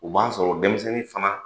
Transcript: U b'a sɔr'o denmisɛnnin fana